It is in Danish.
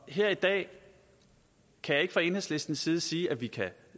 her i dag kan jeg ikke fra enhedslistens side sige at vi kan